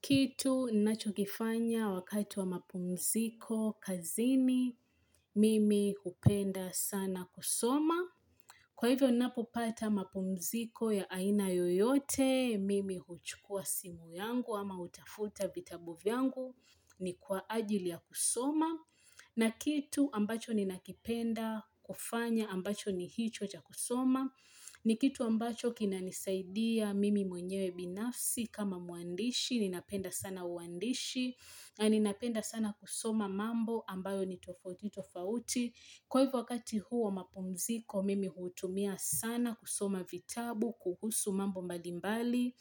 Kitu ninachokifanya wakati wa mapumziko kazini, mimi hupenda sana kusoma. Kwa hivyo ninapopata mapumziko ya aina yoyote, mimi huchukua simu yangu ama hutafuta vitabu vyangu ni kwa ajili ya kusoma. Na kitu ambacho ninakipenda kufanya ambacho ni hicho cha kusoma. Ni kitu ambacho kinanisaidia mimi mwenyewe binafsi kama mwandishi. Ninapenda sana uandishi. Ninapenda sana kusoma mambo ambayo ni tofauti tofauti. Kwa hivyo wakati huo wa mapumziko, mimi hutumia sana kusoma vitabu kuhusu mambo mbalimbali,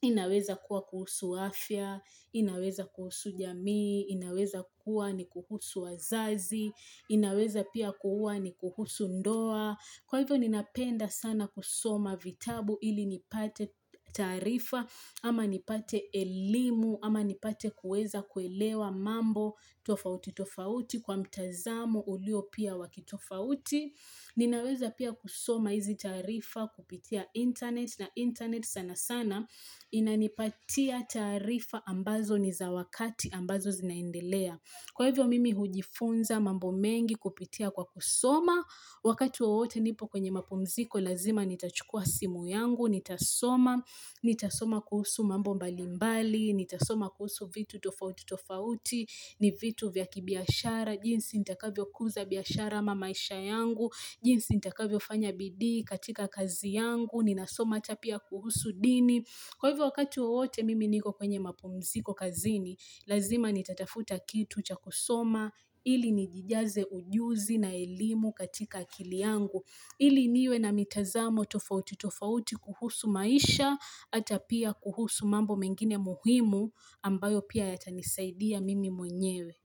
inaweza kuwa kuhusu afya, inaweza kuhusu jamii, inaweza kuwa ni kuhusu wazazi, inaweza pia kuwa ni kuhusu ndoa. Kwa hivyo ninapenda sana kusoma vitabu ili nipate taarifa ama nipate elimu ama nipate kuweza kuelewa mambo tofauti tofauti kwa mtazamo ulio pia wa kitofauti. Ninaweza pia kusoma hizi taarifa kupitia internet na internet sana sana inanipatia taarifa ambazo ni za wakati ambazo zinaendelea. Kwa hivyo mimi hujifunza mambo mengi kupitia kwa kusoma, wakati wowote nipo kwenye mapumziko lazima nitachukua simu yangu, nitasoma, nitasoma kuhusu mambo mbali mbali, nitasoma kuhusu vitu tofauti tofauti, ni vitu vya kibiashara, jinsi nitakavyo kuza biashara ama maisha yangu, jinsi nitakavyo fanya bidii katika kazi yangu, ninasoma ata pia kuhusu dini. Kwa hivyo wakati wowote mimi niko kwenye mapumziko kazini, lazima nitatafuta kitu cha kusoma ili nijijaze ujuzi na elimu katika akili yangu ili niwe na mitazamo tofauti tofauti kuhusu maisha ata pia kuhusu mambo mengine muhimu ambayo pia yatanisaidia mimi mwenyewe.